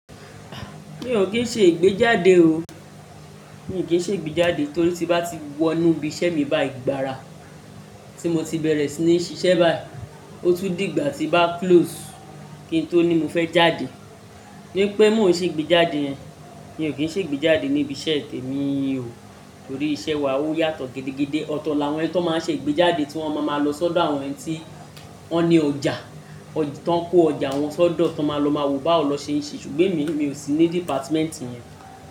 Mi ò kín ṣe ìgbéjáde o. Mi ò kín ṣe ìgbéjáde torí tí bá ti wọ inú ibi iṣẹ́ mi báyìí gbara tí mo ti bẹ̀rẹ̀ sí ní ṣiṣẹ́ báyìí, ó tún dìgbà tí bá close kí n tó ní mo fẹ́ jáde. Nípé mo sì ń ṣe ìgbéjáde yẹn. Mi ò kín ṣe ìgbéjáde ní ibi iṣẹ́ temi ò, torí iṣẹ́ wa ó yàtọ̀ gidigidi. Ọ̀tọ̀ la wọ́n tí wọ́n máa ń ṣe ìgbéjáde tí wọ́n máa ń lo sọ́dọ̀ àwọn ẹni tí wọ́n ní ọjà, tí wọ́n ń kó ọjà wọn sọ́dọ̀ tí wọ́n lọ máa wo bá wo ni won se n se ṣùgbọ́n èmi ò sí ní dìpátímẹ́ǹtì yẹn.